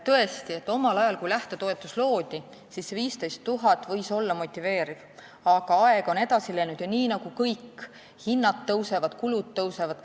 Tõesti, omal ajal, kui lähtetoetus loodi, siis 15 000 eurot võis olla motiveeriv, aga aeg on edasi läinud, kõik hinnad tõusevad ja kulud tõusevad.